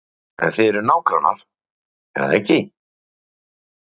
Breki: En þið eruð nágrannar, er það ekki?